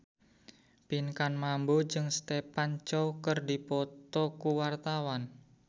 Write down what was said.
Pinkan Mambo jeung Stephen Chow keur dipoto ku wartawan